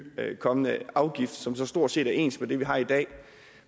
kommende afgift som så stort set er ens i det vi har i dag